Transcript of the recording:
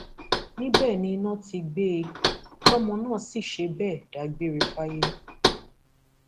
níbẹ ni iná ti gbé e tọmọ náà sì ṣe bẹẹ dágbére fáyé